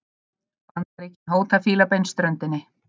Bandaríkin hóta Fílabeinsströndinni